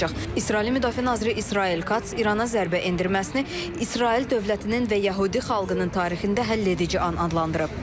İsrailin Müdafiə naziri İsrail Kats İrana zərbə endirməsini İsrail dövlətinin və yəhudi xalqının tarixində həlledici an adlandırıb.